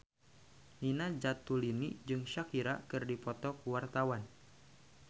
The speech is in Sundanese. Nina Zatulini jeung Shakira keur dipoto ku wartawan